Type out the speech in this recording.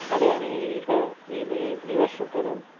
കളിയാണ് ഈ ഈൽ ഈ വർഷത്തേത്